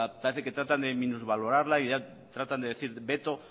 parece que tratan de minusvalorarla y ya tratan de decir veto